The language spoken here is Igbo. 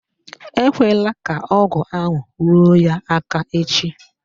Ekwela ka ọgụ ahụ ruo ya aka echi